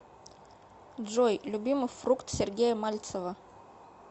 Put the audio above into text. джой любимый фрукт сергея мальцева